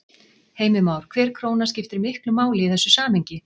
Heimir Már: Hver króna skiptir miklu máli í þessu samhengi?